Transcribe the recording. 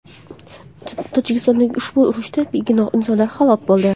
Tojikistondagi ushbu urushda begunoh insonlar halok bo‘ldi.